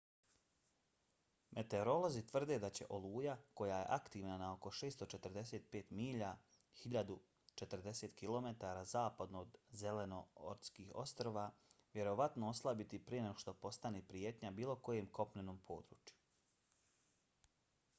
meteorolozi tvrde da će oluja koja je aktivna na oko 645 milja 1040 km zapadno od zelenortskih ostrva vjerovatno oslabiti prije nego što postane prijetnja bilo kojem kopnenom području